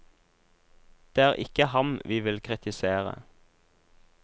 Det er ikke ham vi vil kritisere.